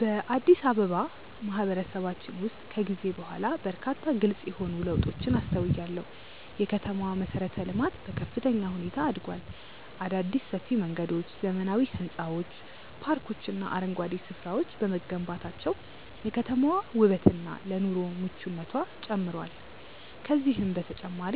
በአዲስ አበባ ማህበረሰባችን ውስጥ ከጊዜ በኋላ በርካታ ግልጽ የሆኑ ለውጦችን አስተውያለሁ። የከተማዋ መሠረተ-ልማት በከፍተኛ ሁኔታ አድጓል። አዳዲስ ሰፊ መንገዶች፣ ዘመናዊ ሕንፃዎች፣ ፓርኮችና አረንጓዴ ስፍራዎች በመገንባታቸው የከተማዋ ውበትና ለኑሮ ምቹነቷ ጨምሯል። ከዚህም በተጨማሪ